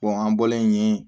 an bɔlen yen